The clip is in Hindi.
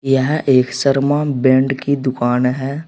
यह एक शर्मा बैंड की दुकान है।